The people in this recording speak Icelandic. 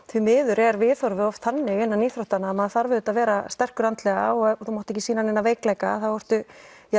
því miður er viðhorfið oft þannig innan íþróttana að maður þarf auðvitað að vera sterkur andlega og þú mátt ekki sýna neina veikleika þá ertu